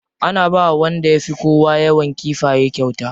Ana bawa wanda ya fi kowa yawan kifaye kyauta.